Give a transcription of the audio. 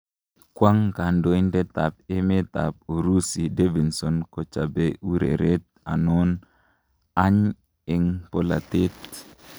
Kwang kandoitet ab emet ab urusi Davidson kochape ureret anon any eng polatet?